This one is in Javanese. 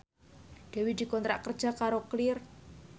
Dewi dikontrak kerja karo Clear